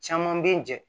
Caman bɛ n jɛ